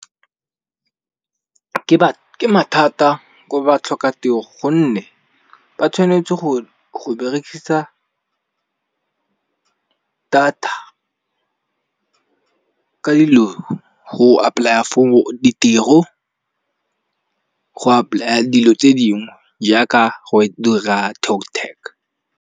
Ke mathata ko ba tlhokatiro gonne ba tshwanetse go berekisa data, ka dilo go apply-a for ditiro, go apply-a dilo tse dingwe jaaka go e dira TalkTag.